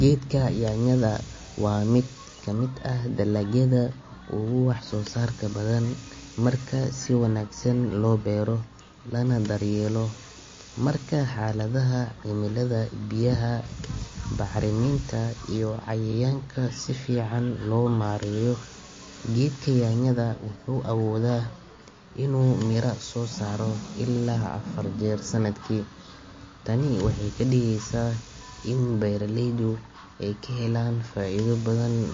Geedka nyanyada waa mid kamid ah dalagyada ugu wax soo saarka badan marka si wanagsan loo beero lana dar yeelo, marka xaladaha cimilada biyaha bacraminta iyo cayayaanka sifican loo maareyo, geedka nyanyada wuxuu awooda inuu mira soo saaro ilaa afar jeer sanadki, tani waxeey kadigeysa in beeraleydu aay kahelaan faaido badan,